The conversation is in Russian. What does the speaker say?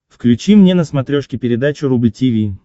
включи мне на смотрешке передачу рубль ти ви